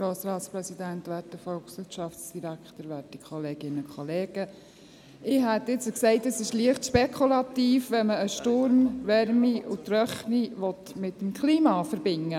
Ich würde meinen, es sei leicht spekulativ, wenn man einen Sturm, Wärme und Trockenheit mit dem Klima verbindet.